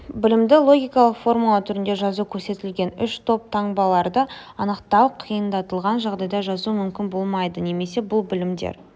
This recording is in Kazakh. білімді логикалық формула түрінде жазу көрсетілген үш топ таңбаларды анықтау қиындатылған жағдайда жазу мүмкін болмайды немесе бұл білімдер